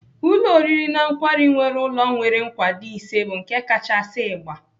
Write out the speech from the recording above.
Ụlọ oriri na nkwari nwere ụlọ nwere nkwado ise bụ nke kachasị ịgba.